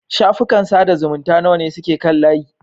Shafukan sada zumunta nawa ne suke kan layi?